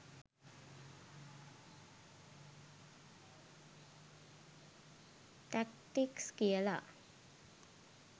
Tactics කියලා.